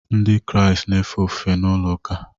Ndị Kraịst na-efe ofufe na ụlọụka